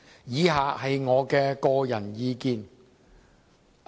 以下是我的個人意見。